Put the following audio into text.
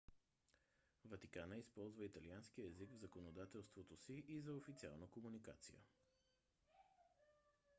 ватикана използва италианския език в законодателството си и за официална комуникация